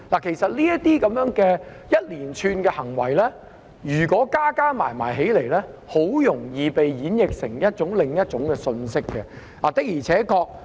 其實，如果將這一連串行為加起來，很容易會被演譯為另一種信息。